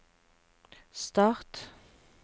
start